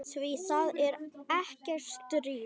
Því það er ekkert stríð.